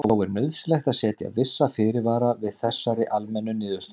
Þó er nauðsynlegt að setja vissa fyrirvara við þessari almennu niðurstöðu.